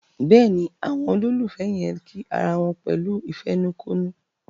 Béèni Àwọn ololufẹ yén kí àrà wón pẹ̀lú ìfẹnukonu.